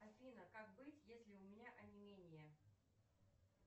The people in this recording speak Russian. афина как быть если у меня онемение